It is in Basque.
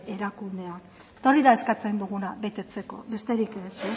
erakundeak eta hori da eskatzen duguna betetzeko besterik ez